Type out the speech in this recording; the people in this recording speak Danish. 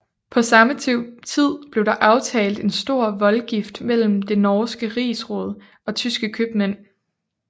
På samme tid blev der aftalt en stor voldgift mellem det norske rigsråd og tyske købmænd